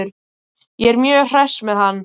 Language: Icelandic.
Ég er mjög hress með hann.